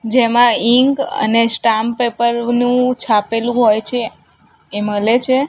જેમાં ઇંક અને stamp paper નુ છાપેલુ હોઈ છે એ મલે છે.